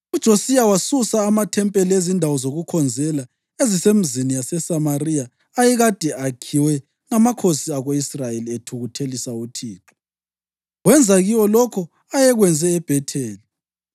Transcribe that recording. UJosiya wasusa amathempeli ezindawo zokukhonzela ezisemizini yaseSamariya ayekade akhiwe ngamakhosi ako-Israyeli, ethukuthelisa uThixo, wenza kiwo lokho ayekwenze eBhetheli.